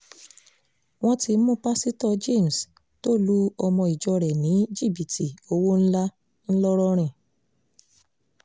wọ́n ti mú pásítọ̀ james tó lu ọmọ ìjọ rẹ̀ ní jìbìtì owó ńlá ńlọrọrin